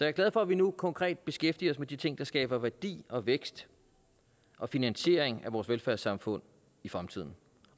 er glad for at vi nu konkret beskæftiger os med de ting der skaber værdi og vækst og finansiering af vores velfærdssamfund i fremtiden